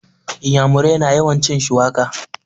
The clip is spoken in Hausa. Inyamurai na yawan cin shuwaka